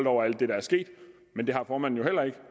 over alt det der er sket men det har formanden jo heller ikke